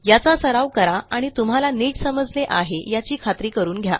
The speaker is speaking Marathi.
याचा सराव करा आणि तुम्हाला नीट समजले आहे याची खात्री करून घ्या